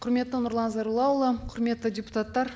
құрметті нұрлан зайроллаұлы құрметті депутаттар